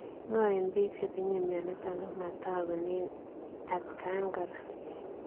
Ngaa eng piik chetinyee mionitok komatagunee atkaan kora